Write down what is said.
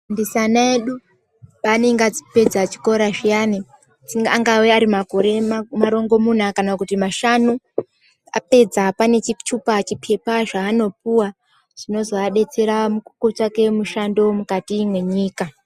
Ana edu paanenge apedza chikora zviyani angave ari makore marongomuna kana kuti mashanu apedza pane chitupa chipepa chaanopuwa chinozoabetsera kutsvake mushando mukati mwenyika.